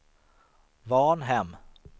Varnhem